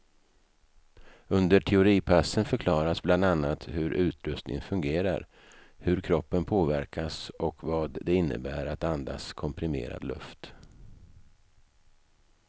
Under teoripassen förklaras bland annat hur utrustningen fungerar, hur kroppen påverkas och vad det innebär att andas komprimerad luft.